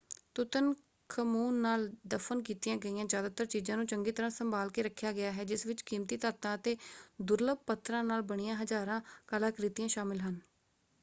Tutankhamun ਨਾਲ ਦਫ਼ਨ ਕੀਤੀਆਂ ਗਈਆਂ ਜਿਆਦਾਤਰ ਚੀਜਾਂ ਨੂੰ ਚੰਗੀ ਤਰ੍ਹਾਂ ਸੰਭਾਲ ਕੇ ਰੱਖਿਆ ਗਿਆ ਹੈ ਜਿਸ ਵਿੱਚ ਕੀਮਤੀ ਧਾਤਾਂ ਅਤੇ ਦੁਰਲੱਭ ਪੱਥਰਾਂ ਨਾਲ ਬਣੀਆਂ ਹਜਾਰਾਂ ਕਲਾਕ੍ਰਿਤੀਆਂ ਸ਼ਾਮਲ ਹਨ।